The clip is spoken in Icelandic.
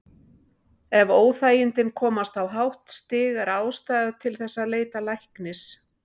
Ef óþægindin komast á hátt stig er ástæða til þess að leita læknis.